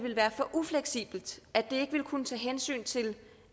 ufleksibelt at det ikke ville kunne tage hensyn til